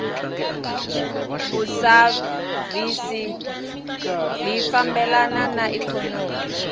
vushavisi bwifambelana naiknonomi